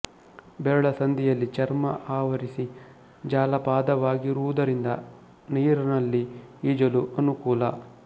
ಬೆರಳ ಸಂದಿಯಲ್ಲಿ ಚರ್ಮ ಆವರಿಸಿ ಜಾಲಪಾದವಾಗಿರುವುದರಿಂದ ನೀರನಲ್ಲಿ ಈಜಲು ಅನುಕೂಲ